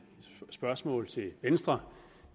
spørgsmål til venstre